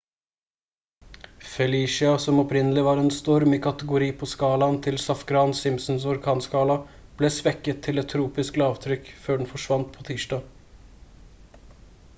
felicia som opprinnelig var en storm i kategori på skalaen til safgran-simpsons orkanskala ble svekket til et tropisk lavtrykk før den forsvant på tirsdag